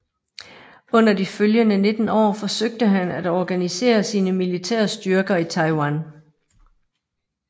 Under de følgende 19 år forsøgte han at organisere sine militære styrker i Taiwan